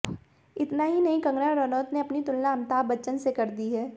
इतना ही नहीं कंगना रनौत ने अपनी तुलना अमिताभ बच्चन से कर दी है